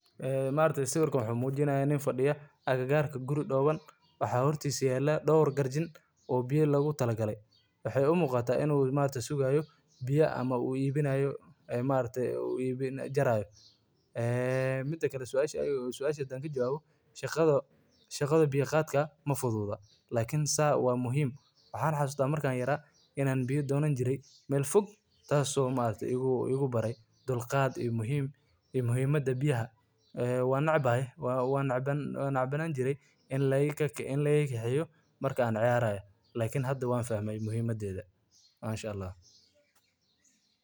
Iibinta biyaha waa ganacsi muhiim ah oo ka mid ah kuwa ugu asaasisan ee bulshada Kenya ay ku tiirsan tahay, gaar ahaan meelaha ay biyo nadiif ah si sahlan uga helin. Dad badan ayaa biyo ku iibinaya suuqa si ay u daboolaan baahida dadka deegaanka, iyadoo biyaha la iibiyo ay noqon karaan kuwo la safeeyey, sida biyaha la miiray ee la xirxiray, ama biyo laga soo qaado ceelal iyo webiyo.